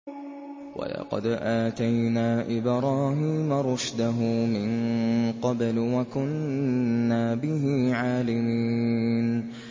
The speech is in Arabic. ۞ وَلَقَدْ آتَيْنَا إِبْرَاهِيمَ رُشْدَهُ مِن قَبْلُ وَكُنَّا بِهِ عَالِمِينَ